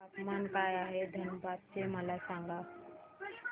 तापमान काय आहे धनबाद चे मला सांगा